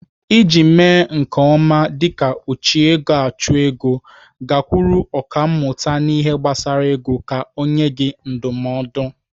Iji mee nke ọma dịka ojiegoachụego, gakwuru ọkàmmụta n'ihe gbasara ego ka ọ nyee gị ndụmọdụ.